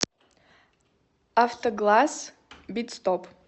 автогласс битстоп